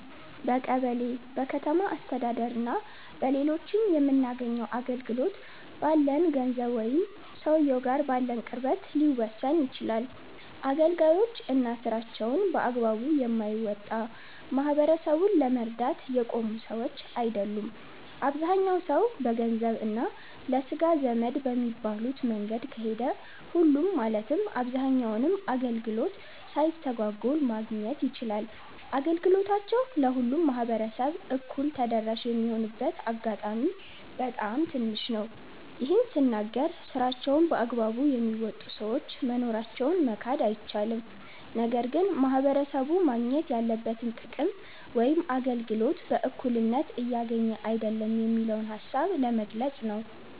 በቀበሌ፣ በከተማ አስተዳደር እና በሌሎችም የምናገኘው አገልግሎት፣ ባለን ገንዘብ ወይም ሰውየው ጋር ባለን ቅርበት ሊወሰን ይችላል። አገልጋዮች እና ስራቸውን በአግባቡ የማይወጣ፣ ማህበረሰቡን ለመርዳት የቆሙ ሰዎች አይደሉም። አብዛኛው ሰው በገንዘብ እና ለስጋ ዘመድ በሚባሉት መንገድ ከሄደ፣ ሁሉም ማለትም ማንኛውንም አገልግሎት ሳይስተጓጎል ማግኘት ይችላል። አገልግሎታቸው ለሁሉም ማህበረሰብ እኩል ተደራሽ የሚሆንበት አጋጣሚ በጣም ትንሽ ነው። ይህን ስናገር ስራቸውን በአግባቡ የሚወጡ ሰዎች መኖራቸውን መካድ አይቻልም። ነገር ግን ማህበረሰቡ ማግኘት ያለበትን ጥቅም ወይም አገልግሎት በእኩልነት እያገኘ አይደለም የሚለውን ሃሳብ ነው ለመግለፅ ነው።